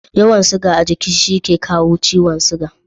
Yawan siga a giki shi yake kawo ciwon sugari